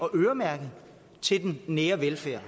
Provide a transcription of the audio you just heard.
øremærke til den nære velfærd